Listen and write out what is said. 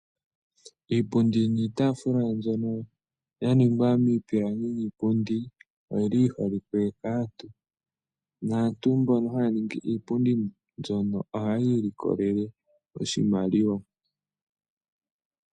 Iipundi niitafula mbono yaningwa miipilangi oyili yi holike kaantu , nantu mbono haya ningi iipundi mbyoka ohaya ilikolele oshimaliwa.